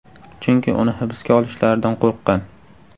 Chunki uni hibsga olishlaridan qo‘rqqan.